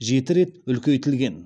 жеті рет үлкейтілген